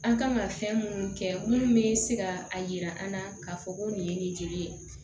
An kan ka fɛn munnu kɛ munnu bɛ se ka a yira an na k'a fɔ ko nin ye nin joli ye